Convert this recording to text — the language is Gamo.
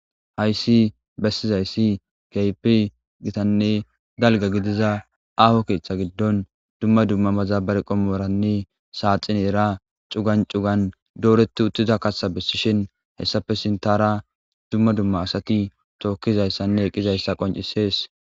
Haysi bessizaysi keehipe gitanne dalga gidiza keetha gidon duma duma madabararanne saaxineran cugan cuga dooreti uttida kaatha besishin hesappe sinthara duma duma asati tiokizaysanne epizaysa qoncisses.